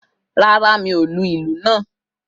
Rárá, mi ò lu ìlú náà